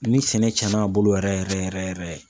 Ni sɛnɛ tiɲɛnna a bolo yɛrɛ yɛrɛ yɛrɛ yɛrɛ.